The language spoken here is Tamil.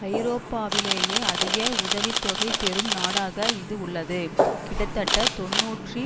ஐரோப்பாவிலேயே அதிக உதவி தொகை பெறும் நாடாக இது உள்ளது கிட்டத்தட்ட தொன்னூற்றி